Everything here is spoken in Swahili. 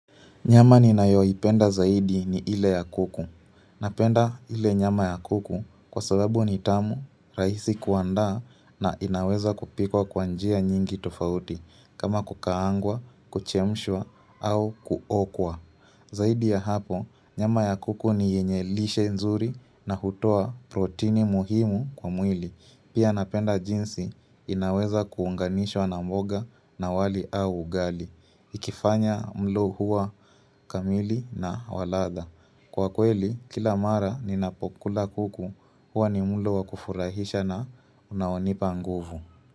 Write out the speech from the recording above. Nyama ninayoipenda zaidi ni ile ya kuku. Napenda ile nyama ya kuku kwasababu ni tamu, rahisi kuandaa na inaweza kupikwa kwa njia nyingi tofauti kama kukaangwa, kuchemshwa au kuokwa. Zaidi ya hapo, nyama ya kuku ni yenye lishe nzuri na hutoa protini muhimu kwa mwili. Pia napenda jinsi inaweza kuunganishwa na mboga na wali au ugali. Ikifanya mlo huwa kamili na wa ladha Kwa kweli kila mara ninapokula kuku huwa ni mlo wakufurahisha na unaonipa nguvu.